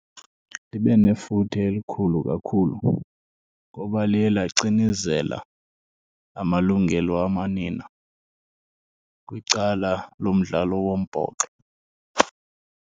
Libe nefuthe elikhulu kakhulu, ngoba liye lacinezela amalungelo wamanina kwicala lomdlalo wombhoxo.